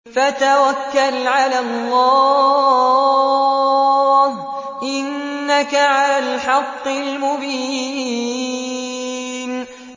فَتَوَكَّلْ عَلَى اللَّهِ ۖ إِنَّكَ عَلَى الْحَقِّ الْمُبِينِ